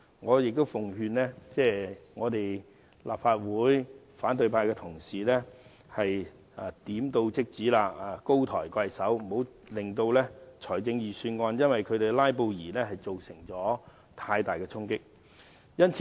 我奉勸立法會反對派同事，請高抬貴手，點到即止，不要讓"拉布"對預算案造成太大衝擊。